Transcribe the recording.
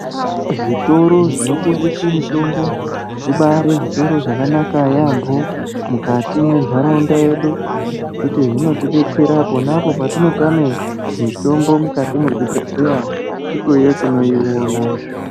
Zvitoro zvinotengese mitombo zvibari zvitoro zvakanaka yambo mukati mwentaraunda yedu ngekuti zvinotodetsera ponapo patinotame mitombo mukati mwezvibhedhleya ikweyo tinoiona.